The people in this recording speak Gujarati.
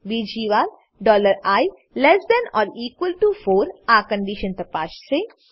બીજી વાર i less than or equal to 4 આ કન્ડીશન તપાસશે